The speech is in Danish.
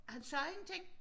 Han sagde ingenting